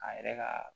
A yɛrɛ ka